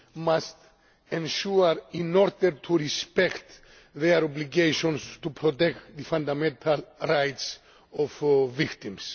must ensure in order to respect their obligations to protect the fundamental rights of victims.